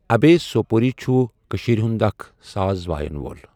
اَبۓ سؤپؤري چھُ کٔشیٖرِ ہُند اَکھ ساز وایَن وول۔